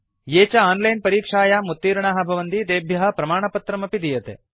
ये च आनलैन परीक्षायां उत्तीर्णाः भवन्ति तेभ्यः प्रमाणपत्रमपि दीयते